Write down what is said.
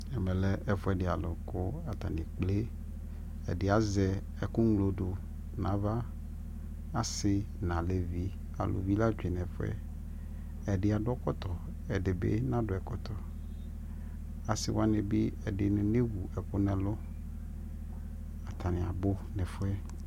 ɛmɛ lɛ ɛƒʋɛdi kʋ atani ɛkplɛ, ɛdi azɛ ɛkʋ mlɔdʋ nʋ aɣa ,asii nʋ alʋvi, alʋvi la twɛnʋ ɛƒʋɛ, ɛdi adʋ ɛkɔtɔ ɛdibi nadʋ ɛkɔtɔ, asii wani bi ɛdini nɛwʋ ɛkʋ nʋ ɛlʋ, atani abʋ nʋ ɛƒʋɛ